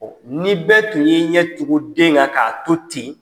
ni bɛɛ tun ye i ɲɛ tugun den ŋa k'a to ten